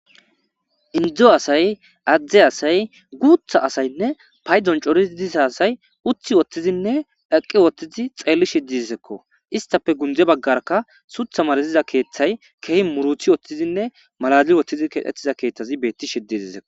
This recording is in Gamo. indzo asay adzde asay guutha asaynne paydzon corii diza asay uthi wottizinne eqqi wottizi xeelli shiddisekko istafe gunde baggarka sutha maraziza keeththay kehi muruthi woththizinne maladil wothtizi keettiza keeththazi beetti shiddiizeo